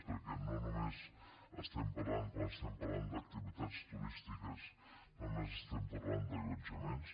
perquè no només estem parlant quan estem parlant d’activitats turístiques d’allotjaments